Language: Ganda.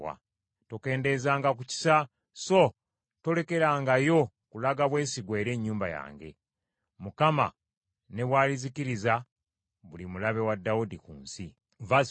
tokendeezanga ku kisa so tolekangayo kulaga bwesigwa eri ennyumba yange, Mukama ne bw’alizikiriza buli mulabe wa Dawudi ku nsi.”